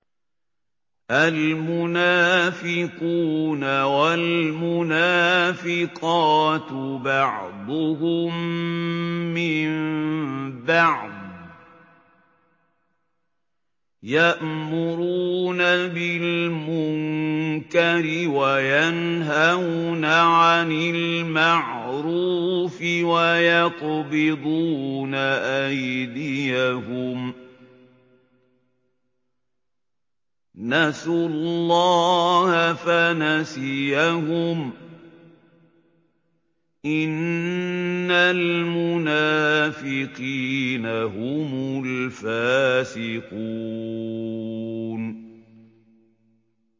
الْمُنَافِقُونَ وَالْمُنَافِقَاتُ بَعْضُهُم مِّن بَعْضٍ ۚ يَأْمُرُونَ بِالْمُنكَرِ وَيَنْهَوْنَ عَنِ الْمَعْرُوفِ وَيَقْبِضُونَ أَيْدِيَهُمْ ۚ نَسُوا اللَّهَ فَنَسِيَهُمْ ۗ إِنَّ الْمُنَافِقِينَ هُمُ الْفَاسِقُونَ